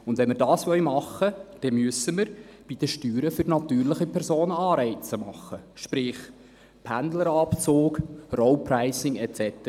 Wenn wir das tun wollen, dann müssen wir bei den Steuern für natürliche Personen Anreize schaffen, sprich Pendlerabzüge, Road-Pricing und so weiter.